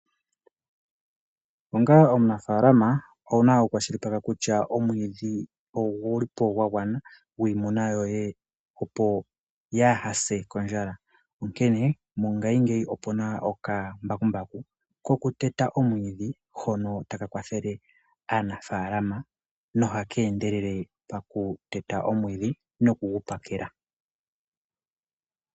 Onga omunafalama owuna oku kwashilipaleka kutya omwidhi ongulipo ngwangwana ngwimuna yoye opo yahase kondjala, onkene mongashi ngeyi opuna oka mbakumbaku kokuteta omwidhi hono taka kwathele aanafalama nohakendelele pakuteta omwidhi nokungu pakela.